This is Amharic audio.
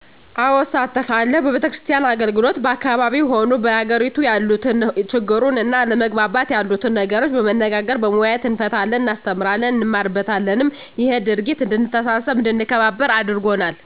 አዎ እሳተፋለሁ በቤተክርስቲያን አገልግሎት በአካባቢው ሆኑ በአገሬቱ ያሉትን ችግሩን እና አለመግባባት የሉትን ነገሮች በመነጋገር በመወያየት እንፈታለን እናስተምራለን እንማርበታለንም እሄ ድርጊት እድንተሳሰብ አድንከባበር አርጎናል